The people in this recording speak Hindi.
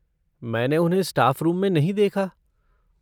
मैंने उन्हें स्टाफ़ रूम में नहीं देखा।